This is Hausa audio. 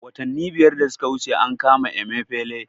Watanni biyar da suka wuce an kama Emefele